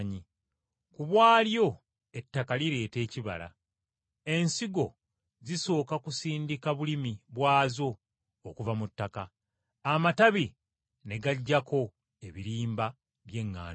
Ku bwalyo ettaka lireeta ekibala. Ensigo zisooka kusindika bulimi bwazo okuva mu ttaka, amatabi ne gajjako ebirimba by’eŋŋaano.